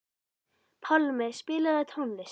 Pálmi, spilaðu tónlist.